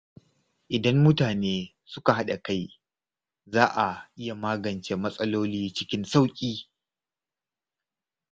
Idan mutane suka haɗa kai, za a iya magance matsaloli cikin sauƙi.